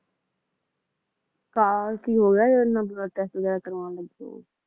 ਕੀ ਹੋਗਿਆ ਜਿਹੜਾ blood test ਵਗੈਰਾ ਕਰਵਾਉਣ ਲੱਗੇ ਓ?